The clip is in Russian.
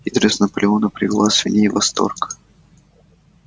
хитрость наполеона привела свиней в восторг